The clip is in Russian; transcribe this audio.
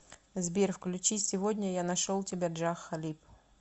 сбер включи сегодня я нашел тебя джах халиб